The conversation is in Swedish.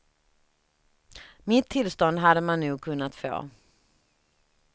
Mitt tillstånd hade man nog kunnat få.